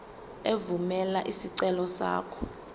evumela isicelo sakho